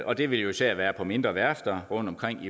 og det vil jo især være på mindre værfter rundtomkring